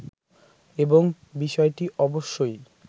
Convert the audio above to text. এবং বিষয়টি অবশ্যই